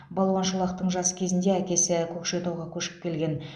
балуан шолақтың жас кезінде әкесі көкшетауға көшіп келген